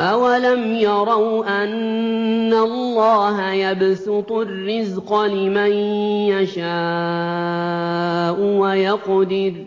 أَوَلَمْ يَرَوْا أَنَّ اللَّهَ يَبْسُطُ الرِّزْقَ لِمَن يَشَاءُ وَيَقْدِرُ ۚ